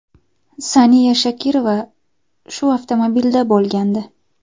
Saniya Shokirova shu avtomobilda bo‘lgandi.